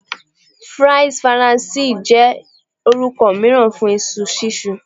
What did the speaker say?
Fries Faranse jẹ orukọ miiran fun iṣu sisun